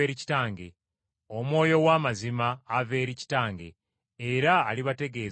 Era nammwe mulinjulira, kubanga mubadde nange okuva ku lubereberye.”